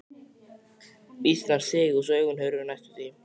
Mýsnar sigu svo augun hurfu næstum því.